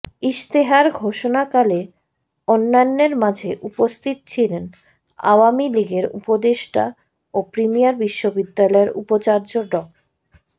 ইশতেহার ঘোষণাকালে অন্যান্যের মাঝে উপস্থিত ছিলেন আওয়ামী লীগের উপদেষ্টা ও প্রিমিয়ার বিশ্ববিদ্যালয়ের উপাচার্য ড